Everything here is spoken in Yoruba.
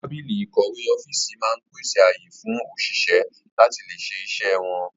Tábìlì ìkọ̀wé ọ́fíìsì máa ń pèsè ààyè fún òṣìṣẹ́ láti lè ṣe iṣẹ́ wọn